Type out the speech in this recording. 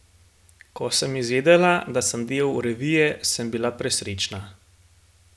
Ko sem izvedela, da sem del revije, sem bila presrečna.